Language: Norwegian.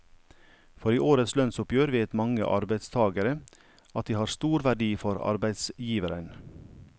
For i årets lønnsoppgjør vet mange arbeidstagere at de har stor verdi for arbeidsgiveren.